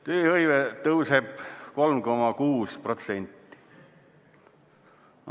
Tööhõive tõuseb 3,6%.